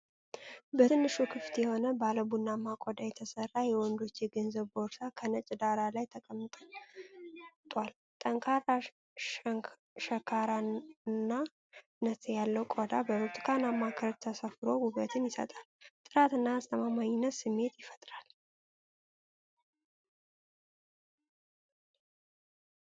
በትንሹ ክፍት የሆነ ባለ ቡናማ ቆዳ የተሠራ የወንዶች የገንዘብ ቦርሳ ከነጭ ዳራ ላይ ተቀምጥል። ጠንካራ ሸካራነት ያለው ቆዳው በብርቱካናማ ክር ተሰፍፎ ውበትን ይሰጣል። የጥራት እና አስተማማኝነት ስሜት ይፈጥራል።